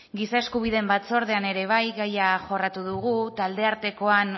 giza eskubideen batzordean ere bai gaia ere jorratu dugu talde artekoan